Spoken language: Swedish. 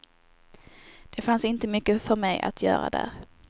Det fanns inte mycket för mig att göra där.